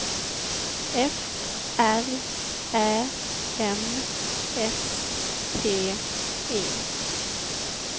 F R Ä M S T E